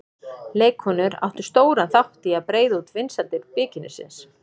Leikkonur áttu stóran þátt í að breiða út vinsældir bikinísins.